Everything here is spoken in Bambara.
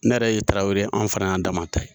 Ne yɛrɛ ye Tarawele ye, an fana y'an dama ta ye.